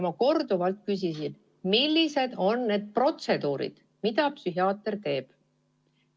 Ma korduvalt küsisin, millised on need protseduurid, mida psühhiaater teeb.